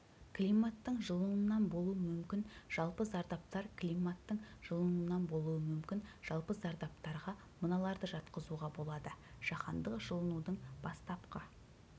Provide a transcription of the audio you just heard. климаттың жылынуынан болу мүмкін жалпы зардаптар климаттың жылынуынан болуы мүмкін жалпы зардаптарға мыналарды жатқызуға болады жаһандық жылынудың бастапқы